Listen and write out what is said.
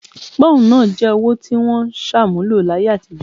Pọ́ùn náà jẹ́ owó tí wọ́n ṣàmúlò láyé àtijọ́